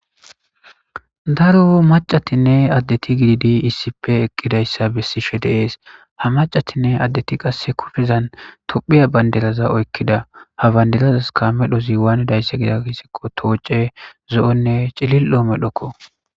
daro macatinne addeti gididi issipe eqqidayssa bessishe deees ha macatinne addeti qasse kufezan tophiya bandelaza oykkida ha bayndelazas ka medhoziwaanedayssa gida hissikko tooce zo7onne cilil7o medhokko